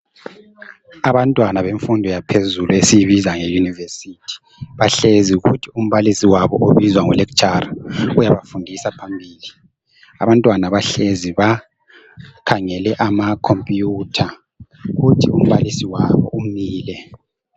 Abantwana bemfundo yaphezulu esiyibiza ngeuniversity, bahlezi kuthi umbalisi wabo obizwa ngo lecturer uyabafundisa phambili. Abantwana bahlezi bakhangele amacomputer kuthi umbalisi wabo umile.